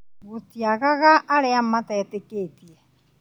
Gũtiagaga arĩa matetĩkĩtie